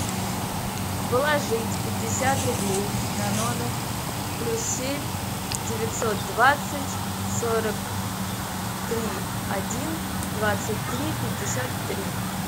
положить пятьдесят рублей на номер плюс семь девятьсот двадцать сорок три один двадцать три пятьдесят три